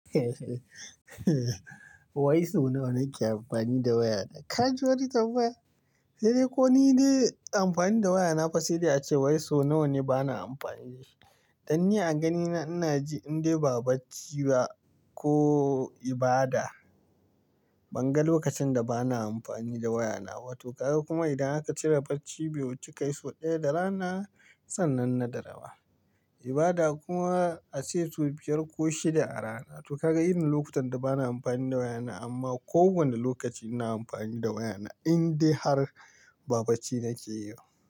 Wai so nawa nake amfani da wayana? Ka ji wani tambaya? Sai dai ko ni dai amfani da waya na fa sai dai a cewai so nawane bana amfani da shi. Dan ni a ganina ina ji in dai ba bacci ba ko ibada, ban ga lokacin da bana amfani da wayana ba. To kaga kuma idan aka cire bacci bi wuci, kayi sau ɗaya da rana sannan na da rawa. Ibada kuma a tsaye sau biyar ko shida a rana. To kaga irin lokutan da bana amfani da wayana amma ko wane lokaci ina amfani da wayana in dai har ba bacci nake yi ba.